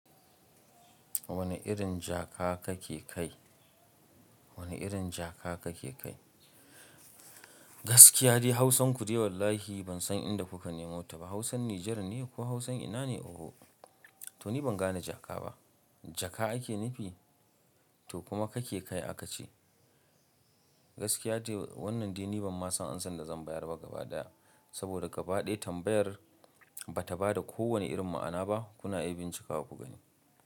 Wane irin jaka kake kai? Wane irin jaka kake kai? Gaskiya dai Hausanku dai wallahi ban san inda kuka nemo ta ba. Hausan Nijar ne ko Hausan ina ne? Oho! To ni ban gane jaka ba. Jaka ake nufi? To kuma kake kai aka ce. Gaskiya dai wannan dai ni ban ma san ansan da zan bayar ba gaba daya. Saboda gaba ɗaya tambayar ba ta ba da kowane irin ma'ana ba. Kuna iya bincika ku gani.